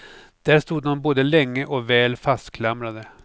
Där stod dom både länge och väl fastklamrade.